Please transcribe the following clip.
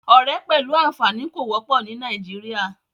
Ọ̀rẹ́ pẹ̀lú àfààní kò wọ́pọ̀ ní Nàìjíríà.